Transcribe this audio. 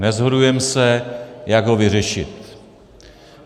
Neshodujeme se, jak ho vyřešit.